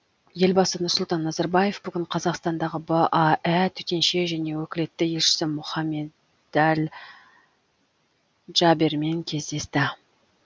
елбасы нұрсұлтан назарбаев бүгін қазақстандағы баә төтенше және өкілетті елшісі мұхаммед дәл джабермен кездесті